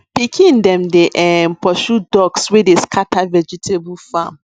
pikin dem dey um pursue ducks wey dey scatter vegetable farm